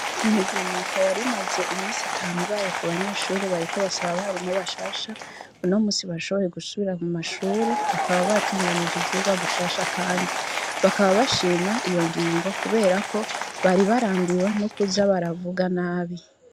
Imigumuko yar'imaze iminsi itanu ibaye kubanyeshure bariko basaba abarimu bashasha, uno musi bashoboye gusubira mumashure, bakaba batunganije ivyirwa gushasha kandi ,bakaba bashima iyo ngingo kubera ko bari barambiwe nokuza baravuga nabi.